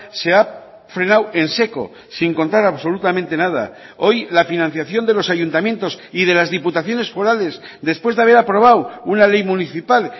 se ha frenado en seco sin contar absolutamente nada hoy la financiación de los ayuntamientos y de las diputaciones forales después de haber aprobado una ley municipal